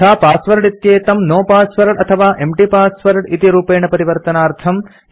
यथा पासवर्ड इत्येतं no password no empty password इति रूपेण परिवर्तनार्थम्